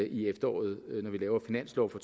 i efteråret når vi laver finanslov for